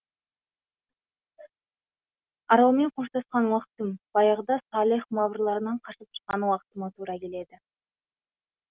аралмен қоштасқан уақытым баяғыда салех маврларынан қашып шыққан уақытыма тура келеді